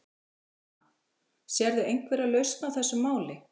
Jóhanna: Sérðu einhverja lausn á þessu máli?